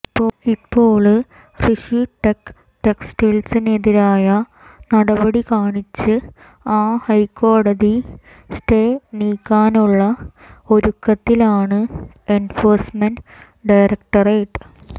ഇപ്പോള് റിഷി ടെക് ടെക്സിനെതിരായ നടപടി കാണിച്ച് ആ ഹൈക്കോടതി സ്റ്റേ നീക്കാനുള്ള ഒരുക്കത്തിലാണ് എന്ഫോഴ്സ്മെന്റ്് ഡയറക്ടറേറ്റ്